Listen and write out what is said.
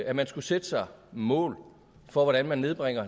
at man skulle sætte sig mål for hvordan man nedbringer